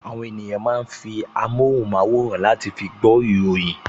Àwọn ènìyàn máa ń fi amóhùnmáwòrán láti fi